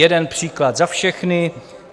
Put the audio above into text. Jeden příklad za všechny: